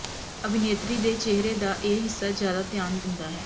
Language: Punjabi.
ਅਭਿਨੇਤਰੀ ਦੇ ਚਿਹਰੇ ਦਾ ਇਹ ਹਿੱਸਾ ਜ਼ਿਆਦਾ ਧਿਆਨ ਦਿੰਦਾ ਹੈ